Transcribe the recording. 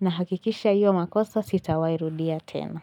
na hakikisha hiyo makosa sitawairudia tena.